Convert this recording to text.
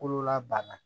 Kololabana